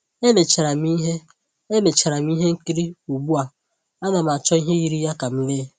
E lecharam ihe E lecharam ihe nkiri, ugbua, ana m achọ ihe yiri ya ka m lee